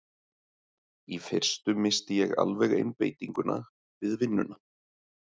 Í fyrstu missti ég alveg einbeitinguna við vinnuna.